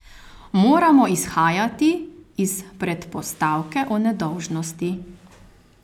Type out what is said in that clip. Moramo izhajati iz predpostavke o nedolžnosti.